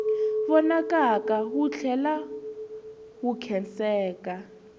vonakaka wu tlhela wu khenseka